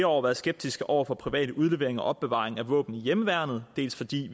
år været skeptiske over for privat udlevering og opbevaring af våben i hjemmeværnet dels fordi